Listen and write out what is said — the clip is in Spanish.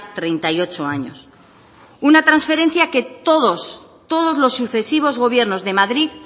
treinta y ocho años una transferencia que todos los sucesivos gobiernos de madrid